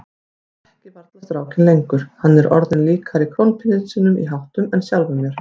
Ég þekki varla strákinn lengur, hann er orðinn líkari krónprinsinum í háttum en sjálfum mér.